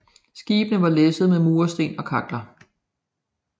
Skibene var læsset med mursten og kakler